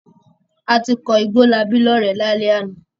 A ti kọ Igbólabí lọ́rẹ̀ẹ́ lálẹ́ àná.